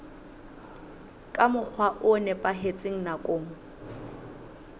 ka mokgwa o nepahetseng nakong